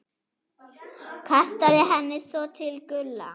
Kastaði henni svo til Gulla.